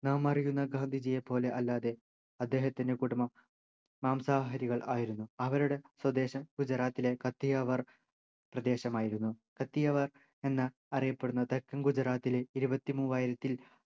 നാമറിയുന്ന ഗാന്ധിജിയെപ്പോലെ അല്ലാതെ അദ്ദേഹത്തിൻ്റെ കുടുംബം മാംസാഹാരികൾ ആയിരുന്നു അവരുടെ സ്വദേശം ഗുജറാത്തിലെ കത്തിയവാർ പ്രദേശം ആയിരുന്നു കത്തിയവാർ എന്ന അറിയപ്പെടുന്ന തെക്കൻ ഗുജറാത്തിലെ ഇരുപത്തിമൂവായിരത്തിൽ